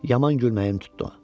Yaman gülməyim tutdu.